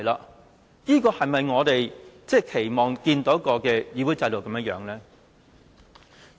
可是，這是否我們期望看到的議會制度呢？